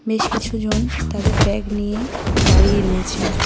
বেশ কিছুজন তাদের ব্যাগ নিয়ে দাঁড়িয়ে রয়েছেন।